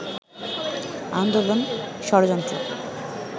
আন্দোলন, ষড়যন্ত্র